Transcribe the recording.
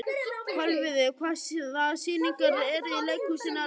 Kolviður, hvaða sýningar eru í leikhúsinu á laugardaginn?